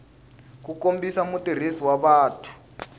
ku kombisa mutirhisi wa patu